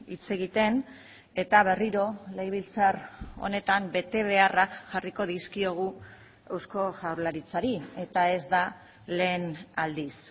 hitz egiten eta berriro legebiltzar honetan betebeharrak jarriko dizkiogu eusko jaurlaritzari eta ez da lehen aldiz